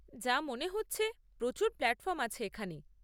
যা মনে হচ্ছে, প্রচুর প্ল্যাটফর্ম আছে এখানে।